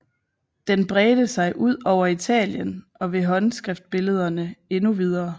Den bredte sig ud over Italien og ved håndskriftbillederne endnu videre